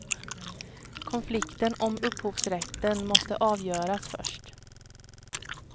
Konflikten om upphovsrätten måste avgöras först.